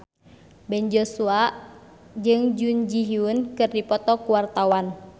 Ben Joshua jeung Jun Ji Hyun keur dipoto ku wartawan